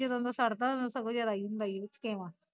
ਜਦੋਂ ਦਾ ਛੱਡਦਾ ਉਦੋਂ ਦਾ ਸਗੋਂ ਜਿਆਦਾ ਈ ਹੁੰਦਾ ਈ ਓ ਥਕੇਵਾਂ